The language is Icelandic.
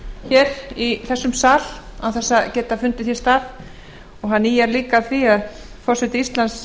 hér í þessum sal án þess að geta fundið því stað og hann ýjar líka að því að forseti íslands